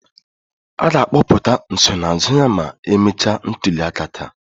A ga-akpọpụta nsonaazụ ya ma emechaa ntuliaka taa